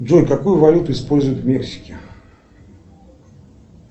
джой какую валюту используют в мексике